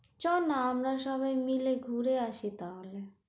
চল না, আমরা সবাই মিলে ঘুরে আসি তাহলে,